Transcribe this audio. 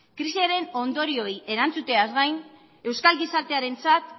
krisiaren ondorioei erantzuteaz gain euskal gizartearentzat